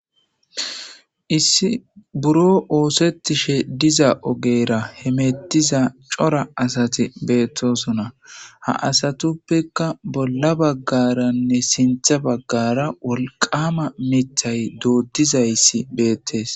Issi biron oosettishe diza ogeyera hemettiza cora asati beettosona. Ha asatuppeka bolla baggaranne sintha baggara wolqama mithay doodida izay issi beettes.